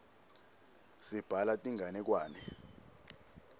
sibhala tinganekwane